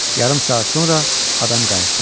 Yarım saat sonra adam qayıtdı.